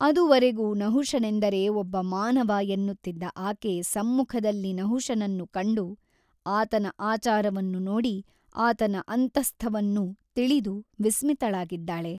ಅದುವರೆಗೂ ನಹುಷನೆಂದರೆ ಒಬ್ಬ ಮಾನವ ಎನ್ನುತ್ತಿದ್ದ ಆಕೆ ಸಮ್ಮುಖದಲ್ಲಿ ನಹುಷನನ್ನು ಕಂಡು ಆತನ ಆಚಾರವನ್ನು ನೋಡಿ ಆತನ ಅಂತಸ್ಥವನ್ನು ತಿಳಿದು ವಿಸ್ಮಿತಳಾಗಿದ್ದಾಳೆ.